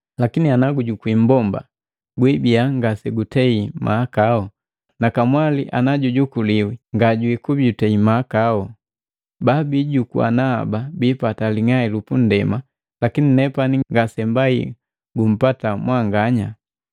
Lakini ana gujukwii mmbomba guibiya ngasegutei mahakau, na kamwali ana jukuliwi nga jikubi jutei mahakau. Babijukuana haba bipata ling'ai lupundema, lakini nepani ngasembai gumpata mwanganya.